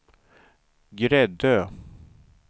Gräddö